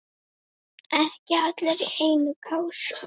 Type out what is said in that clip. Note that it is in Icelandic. Ekki allir í einni kássu!